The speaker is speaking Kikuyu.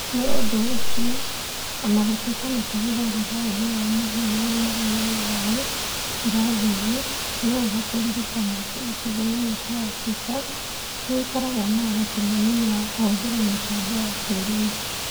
Nĩ ũndũ ũcio, o na gũtuĩka nĩ tũhũthagĩra ũũgĩ wa mũhianĩre (AI) irathi-inĩ, nĩ wega kũririkana atĩ icigo imwe cia Africa nĩ ikoragwo na ũhoti mũnini wa kũhũthĩra mĩtambo ya kĩĩrĩu.